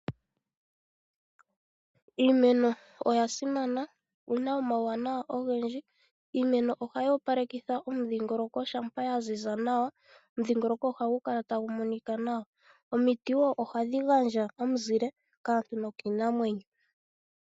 Iimeno oya simana yo oyina omawunawa ogendji, iimeno ohayi opalekitha omudhingoloko shampa ya ziza nawa, omudhingolongo ohagu kala tagu monika nawa. Omiti wo ohadhi gandja omuzile kaantu nokiinamwenyo.